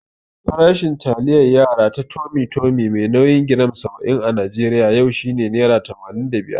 Farashin taliyar yara ta Tummy Tummy mai nauyin giram saba'in a Najeriya yau shine nera tamanin da biyar.